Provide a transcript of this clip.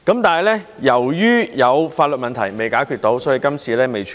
但是，由於有法律問題未能解決，所以今次未能處理。